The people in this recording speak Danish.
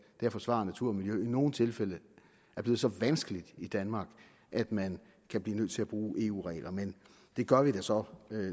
at forsvare natur og miljø i nogle tilfælde er blevet så vanskeligt i danmark at man kan blive nødt til at bruge eu regler men det gør vi da så